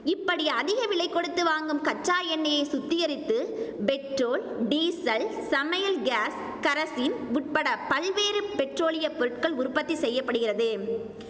இப்படி அதிக விலை கொடுத்து வாங்கும் கச்சா எண்ணெயை சுத்திகரித்து பெட்ரோல் டீசல் சமையல் காஸ் கரசின் உட்பட பல்வேறு பெட்ரோலிய பொருட்கள் உற்பத்தி செய்ய படுகிறது